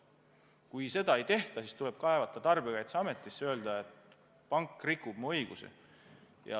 Kui seda ei tehta, siis tuleb kaevata tarbijakaitseametisse, öelda, et pank rikub mu õigusi.